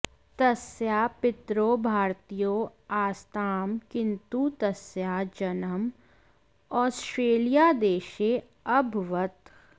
तस्याः पितरौ भारतीयौ आस्तां किन्तु तस्याः जन्म औस्ट्रेलियादेशे अभवत्